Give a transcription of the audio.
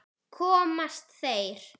Komast þeir???